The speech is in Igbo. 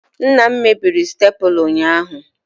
Nna m mebiri staplula ụnyahụ